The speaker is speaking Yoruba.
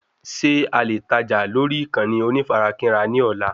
Ṣé alè tajà lórí ìkànnì onífarakínra ní ọ̀la